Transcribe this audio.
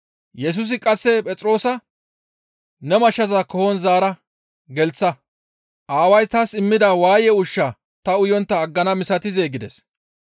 Yesusi qasse Phexroosa, «Ne mashshaza koohon zaara gelththa. Aaway taas immida waaye ushshaa ta uyontta aggana misatizee?» gides.